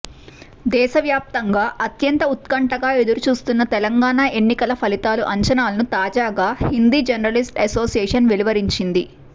దేశ వ్యాప్తంగా అత్యంత ఉత్కంఠగా ఎదురు చూస్తున్న తెలంగాణ ఎన్నికల ఫలితాల అంచనాలను తాజాగా హిందీ జర్నలిస్ట్ అసోసియేషన్ వెలువరించింది